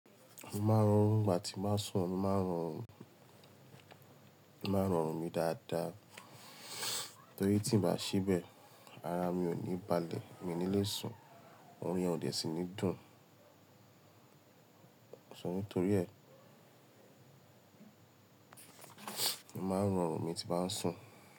Mo máa ń rọrùn ìgbà tí mo bá sùn, mo máa ń rọrùn, mo máa ń rọrùn mi dáadáa. Torí tí m bá sebẹ̀, ara mi ò ní balẹ̀, mi nílé sùn, òrùn yẹn ò de sì ní dùn. Sọ ní torí ẹ. Mo máa ń rọrùn mi tí bá ń sùn.